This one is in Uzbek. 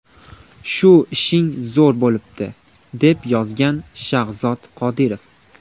Shu ishing zo‘r bo‘libdi!”, deb yozgan Shahzod Qodirov.